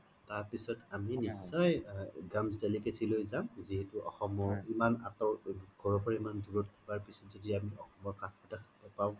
তাৰ পিছত আমি নিশ্চয়ই delicacy লই যাম যিহেতু অসমৰ ইমান আতৰ ঘৰৰ পৰা ইমান দুৰত থকাৰ পিছত য্দি আমি অসমৰ পাও